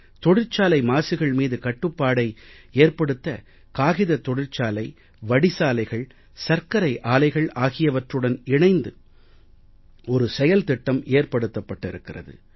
தொழிற்சாலை மாசுகள் மீது கட்டுப்பாட்டை ஏற்படுத்த காகித தொழிற்சாலை வடிசாலைகள் சர்க்கரை ஆலைகள் ஆகியவற்றுடன் இணைந்து ஒரு செயல்திட்டம் ஏற்படுத்தப்பட்டிருக்கிறது